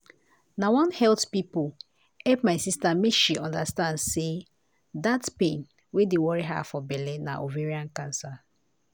na one health pipo help my sister make she understand say dat pain wey dey worry ha for belle na ovarain cancer.